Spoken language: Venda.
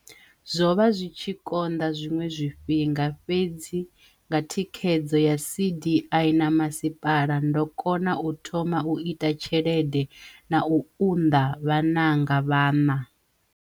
Zwo vha zwi tshi konḓa zwiṅwe zwifhinga, fhedzi nga thikhedzo ya CDI na masipala, ndo kona u thoma u ita tshelede na u unḓa vhananga vhaṋa.